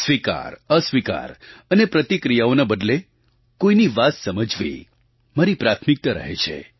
સ્વીકારઅસ્વીકાર અને પ્રતિક્રિયાઓના બદલે કોઈની વાત સમજવી મારી પ્રાથમિકતા રહે છે